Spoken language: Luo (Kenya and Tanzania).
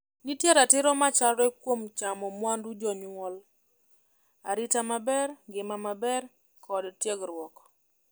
Nitie ratiro machalre kuom chamo mwandu jonyuol, arita maber, ngima maber, kod tiegruok.